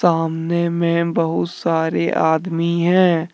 सामने में बहुत सारे आदमी हैं।